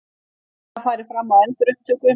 Formlega farið fram á endurupptöku